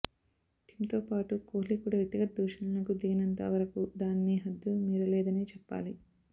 టిమ్తో పాటు కోహ్లీ కూడా వ్యక్తిగత దూషణలకు దిగనంత వరకూ దానిని హద్దుమీరలేదనే చెప్పాలి